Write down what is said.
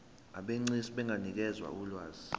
abegcis benganikeza ulwazi